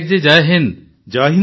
Patnaik ji Jai Hind